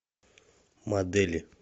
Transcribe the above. модели